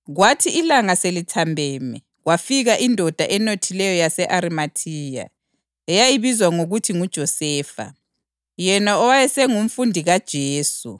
Kwathi ilanga selithambeme, kwafika indoda enothileyo yase-Arimathiya, eyayibizwa ngokuthi nguJosefa, yena owayesengumfundi kaJesu.